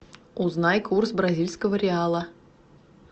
узнай курс бразильского реала